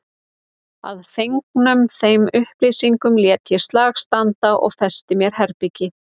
Að fengnum þeim upplýsingum lét ég slag standa og festi mér herbergið.